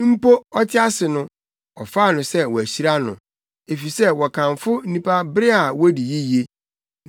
Mpo ɔte ase no, ɔfaa no sɛ wɔahyira no, efisɛ wɔkamfo nnipa bere a wodi yiye,